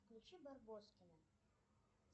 включи барбоскины